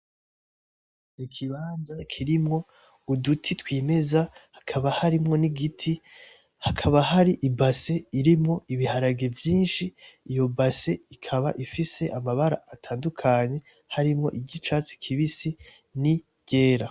Ikibanza kirimwo uduti twimeza hakaba harimwo n,igiti hakaba hari ibase irimwo ibiharage vyinshi iyo base ikaba ifise amabara atandukanye harimwo iry'icatsi kibisi n'iryera.